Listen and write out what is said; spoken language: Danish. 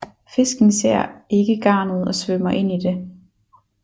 Fisken ser ikke garnet og svømmer ind i det